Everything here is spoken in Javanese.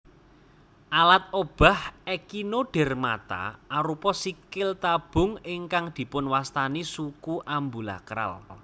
Alat obah Echinodermata arupa sikil tabung ingkang dipunwastani suku ambulakral